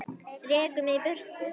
Rekur mig í burtu?